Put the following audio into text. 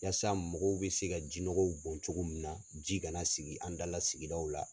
Walasasa mɔgɔw bɛ se ka jiɔnɔgɔw bɔn cogo min na, ji kana sigi an da la sigida la.